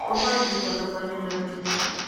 врубай битва за планету обезьян